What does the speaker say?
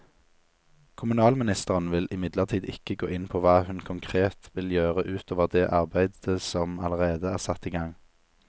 Kommunalministeren vil imidlertid ikke gå inn på hva hun konkret vil gjøre ut over det arbeidet som allerede er satt i gang.